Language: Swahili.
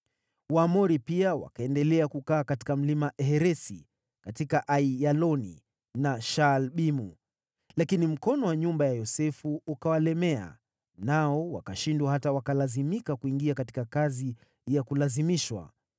Waamori pia wakaendelea kukaa katika Mlima Heresi, katika Aiyaloni na Shaalbimu, lakini mkono wa nyumba ya Yosefu ukawalemea, nao wakashindwa hata wakalazimika kuingia katika kazi ya kulazimishwa.